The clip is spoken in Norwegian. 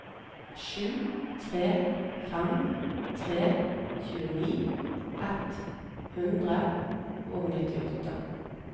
sju tre fem tre tjueni ett hundre og nittiåtte